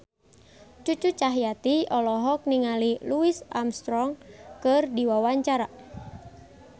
Cucu Cahyati olohok ningali Louis Armstrong keur diwawancara